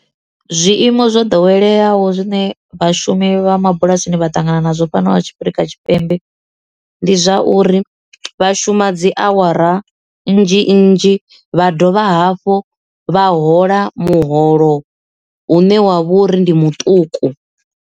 Zwiimo zwo ḓoweleaho zwine vhashumi vha mabulasini vha ṱangana nazwo fhanovha Afurika Tshipembe ndi zwa uri vha shuma dzi awara nnzhi nnzhi vha dovha hafhu vha hola muholo hune wa vho uri ndi muṱuku.